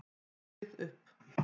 Sauð upp.